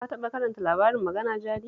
Ka taɓa karanta labarin Magana Jari?